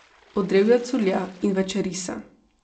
Od drevja curlja in večeri se.